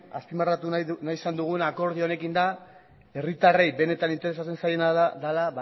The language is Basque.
azpimarratu nahi izan duguna akordio honekin da herritarrei benetan interesatzen zaiena da ba